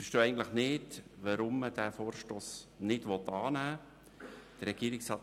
Wir verstehen eigentlich nicht, weshalb man diesen Vorstoss nicht annehmen will.